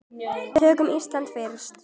Tökum Ísland fyrst.